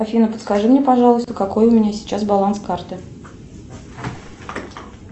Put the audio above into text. афина подскажи мне пожалуйста какой у меня сейчас баланс карты